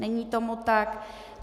Není tomu tak.